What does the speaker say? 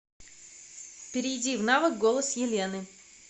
перейди в навык голос елены